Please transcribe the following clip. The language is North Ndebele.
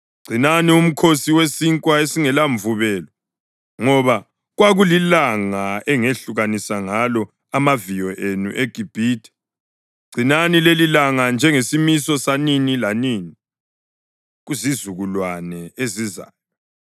Gcinani uMkhosi weSinkwa esingelaMvubelo ngoba kwakulilanga engehlukanisa ngalo amaviyo enu eGibhithe. Gcinani lelilanga njengesimiso sanini lanini kuzizukulwane ezizayo.